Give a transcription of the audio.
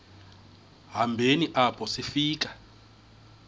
hambeni apho sifika